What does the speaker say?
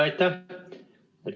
Aitäh!